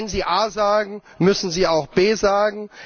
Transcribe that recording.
Wenn Sie A sagen, müssen Sie auch B sagen.